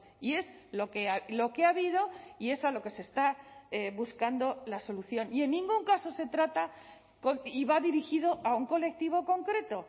y es lo que ha habido y es a lo que se está buscando la solución y en ningún caso se trata y va dirigido a un colectivo concreto